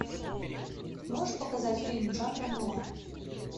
можешь показать фильм жанра нуар